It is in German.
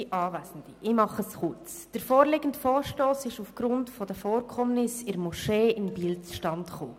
Der vorliegende Vorstoss kam aufgrund der Vorkommnisse in der Moschee in Biel zustande.